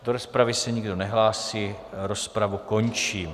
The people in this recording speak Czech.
Do rozpravy se nikdo nehlásí, rozpravu končím.